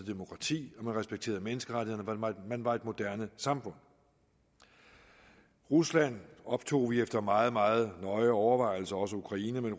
demokrati man respekterede menneskerettighederne man var et moderne samfund rusland optog vi efter meget meget nøje overvejelse også ukraine men